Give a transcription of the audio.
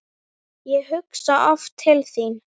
Ég hugsa oft til þín.